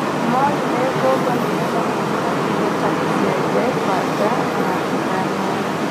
Moire ngobo nĩgetha magũre indo ta icembe, banga na ithanwa